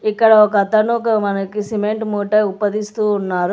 ఇక్కడ ఒకతను ఒక మనకి సిమెంట్ మూట ఉప్పదీస్తూ ఉన్నారు.